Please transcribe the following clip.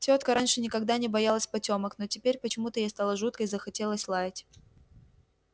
тётка раньше никогда не боялась потёмок но теперь почему-то ей стало жутко и захотелось лаять